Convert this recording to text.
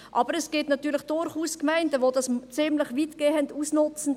Aber es gibt natürlich durchaus Gemeinden, welche dies ziemlich weitergehend ausnutzen.